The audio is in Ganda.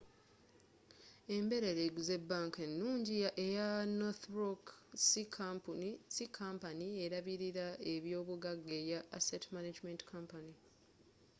emberera eguze bank enungi eya northern rock si kampani erabirila ebyobugaga eya asset management company